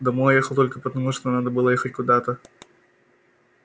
домой ехал только потому что надо было ехать куда-то